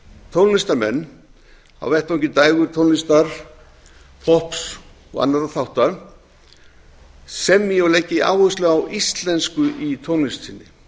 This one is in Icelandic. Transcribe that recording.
tónlistarmenn á vettvangi dægurtónlistar popps og annarra þátta semji og leggi áherslu á íslensku í tónlist sinni